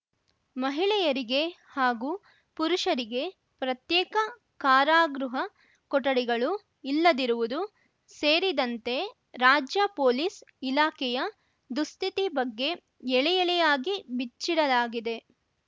ಮಹಿಳೆಯರಿಗೆ ಹಾಗೂ ಪುರುಷರಿಗೆ ಪ್ರತ್ಯೇಕ ಕಾರಾಗೃಹ ಕೊಠಡಿಗಳು ಇಲ್ಲದಿರುವುದು ಸೇರಿದಂತೆ ರಾಜ್ಯ ಪೊಲೀಸ್‌ ಇಲಾಖೆಯ ದುಸ್ಥಿತಿ ಬಗ್ಗೆ ಎಳೆಎಳೆಯಾಗಿ ಬಿಚ್ಚಿಡಲಾಗಿದೆ